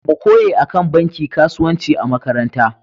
Mu koye akan banki kasuwanci a makaranta.